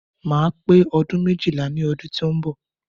Máa pè ọdún méjìlá ní ọdún tí ó ń bọ̀